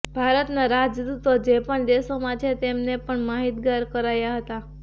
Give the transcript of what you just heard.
ભારતના રાજદૂતો જે પણ દેશોમાં છે તેમને પણ માહિતગાર કરાયા હતા